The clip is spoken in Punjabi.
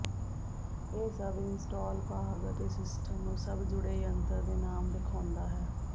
ਇਹ ਸਭ ਇੰਸਟਾਲ ਭਾਗ ਅਤੇ ਸਿਸਟਮ ਨੂੰ ਸਭ ਜੁੜੇ ਜੰਤਰ ਦੇ ਨਾਮ ਵੇਖਾਉਦਾ ਹੈ